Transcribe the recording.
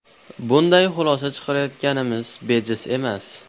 Bunday xulosa chiqarayotganimiz bejiz emas.